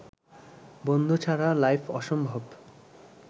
বন্ধু ছাড়া লাইফ অসম্ভব